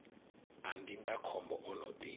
a ndindakhombo o no ḓi